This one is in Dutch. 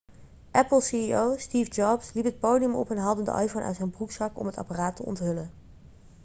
apple ceo steve jobs liep het podium op en haalde de iphone uit zijn broekzak om het apparaat te onthullen